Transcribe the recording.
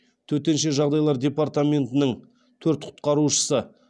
төтенше жағдайлар департаментның төрт құтқарушысы